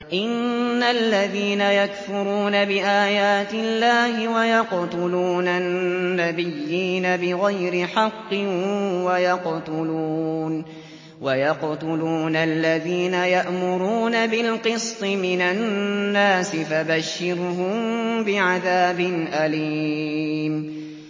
إِنَّ الَّذِينَ يَكْفُرُونَ بِآيَاتِ اللَّهِ وَيَقْتُلُونَ النَّبِيِّينَ بِغَيْرِ حَقٍّ وَيَقْتُلُونَ الَّذِينَ يَأْمُرُونَ بِالْقِسْطِ مِنَ النَّاسِ فَبَشِّرْهُم بِعَذَابٍ أَلِيمٍ